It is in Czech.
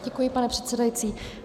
Děkuji, pane předsedající.